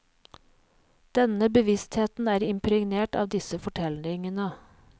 Denne bevisstheten er impregnert av disse fortellingene.